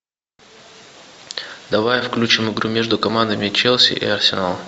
давай включим игру между командами челси и арсеналом